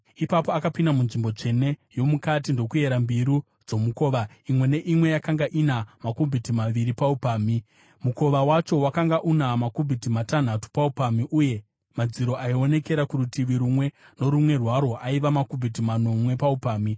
Ipapo akapinda munzvimbo tsvene yomukati ndokuyera mbiru dzomukova; imwe neimwe yakanga ina makubhiti maviri paupamhi. Mukova wacho wakanga una makubhiti matanhatu paupamhi uye madziro aionekera kurutivi rumwe norumwe rwawo aiva makubhiti manomwe paupamhi.